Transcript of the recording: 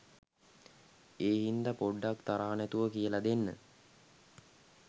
ඒ හින්ද පොඩ්ඩක් තරහ නැතුව කියල දෙන්න.